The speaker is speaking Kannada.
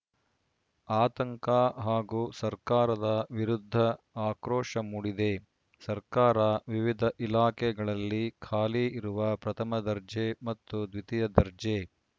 ಆತಂಕ ಹಾಗೂ ಸರ್ಕಾರದ ವಿರುದ್ಧ ಆಕ್ರೋಶ ಮೂಡಿದೆ ಸರ್ಕಾರ ವಿವಿಧ ಇಲಾಖೆಗಳಲ್ಲಿ ಖಾಲಿ ಇರುವ ಪ್ರಥಮ ದರ್ಜೆ ಮತ್ತು ದ್ವಿತೀಯ ದರ್ಜೆ